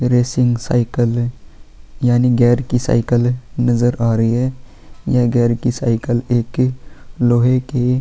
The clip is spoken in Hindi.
रेसिंग साइकलें यानि गेयर की साइकलें नजर आ रही है यह गेयर की साइकिल एक की लोहे की --